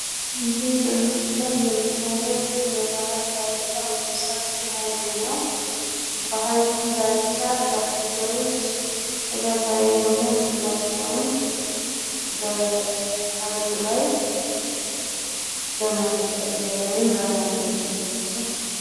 ይህ በምስሉ ላይ የምናየው የባህር ዳርቻ ወይም ሰፊ ሀይቅ ነው። በሀይቁም ዳርቻ ዳክዬዎች እለታዊ የሆነ ምግባቸውን በሀይቁ ላይ በመፈለግ ላይ ወይም በማደን ላይ ናቸው።